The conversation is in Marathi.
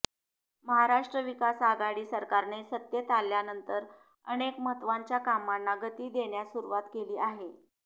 महाराष्ट्र विकास आघाडी सरकारने सत्तेत आल्यानंतर अनेक महत्वाच्या कामांना गती देण्यास सुरुवात केली आहे